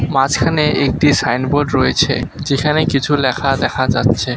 মাঝখানে একটি সাইনবোর্ড রয়েছে যেখানে কিছু লেখা দেখা যাচ্ছে।